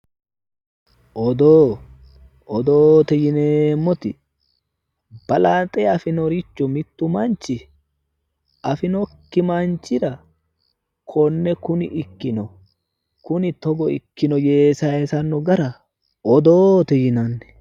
odoo odoote yineemmoti balaxe afinore mittu manchi afinokki manchira konne kuni ikkino kuni togo ikkino yee sayiisanno gara odoote yinanni.